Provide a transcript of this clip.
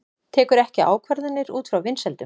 Tekur ekki ákvarðanir út frá vinsældum